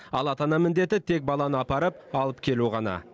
ал ата ана міндеті тек баланы апарып алып келу ғана